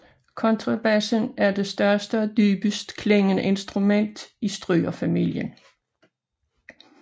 Kontrabassen er det største og dybest klingende instrument i strygerfamilien